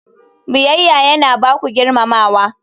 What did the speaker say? Biyayya yana ba ku girmamawa.